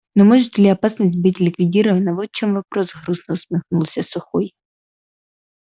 но может ли опасность быть ликвидирована вот в чём вопрос грустно усмехнулся сухой